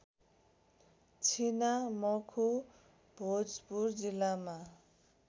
छिनामखु भोजपुर जिल्लामा